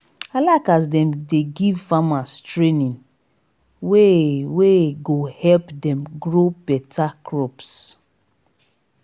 i like as dem dey give farmers training wey wey go help dem grow beta crops.